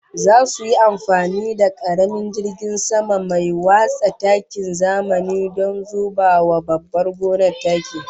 Zasu yi amfani da karamin jirgin sama mai watsa takin zamani don zuba wa babbar gonar taki